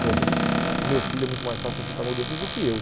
Como o meu filho é muito mais fácil de aceitar mudanças do que eu.